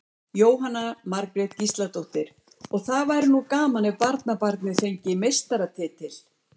Jóhanna Margrét Gísladóttir: Og það væri nú gaman ef barnabarnið fengi meistaratitil?